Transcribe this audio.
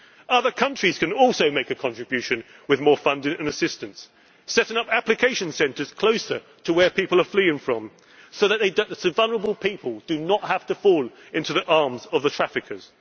of assistance. Other countries can also make a contribution with more funding and assistance, setting up application centres closer to where people are fleeing from so that vulnerable people do not have to fall into the arms of the